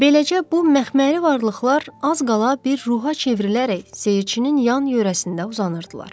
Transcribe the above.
Beləcə bu məxməri varlıqlar az qala bir ruha çevrilərək seyircinin yan-yörəsində uzanırdılar.